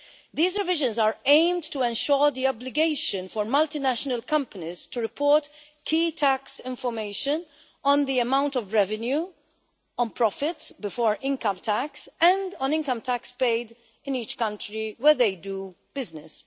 These revisions are aimed to ensure the obligation for multinational companies to report key tax information on the amount of revenue, on profit before income tax and on income tax paid in each country where they do business.